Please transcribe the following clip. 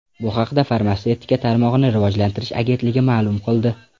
Bu haqda Farmatsevtika tarmog‘ini rivojlantirish agentligi ma’lum qildi .